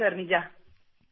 ನಿಜ | ನಿಜ ಸರ್ |